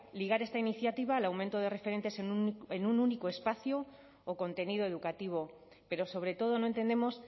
ligar esta iniciativa al aumento de referentes en un único espacio o contenido educativo pero sobre todo no entendemos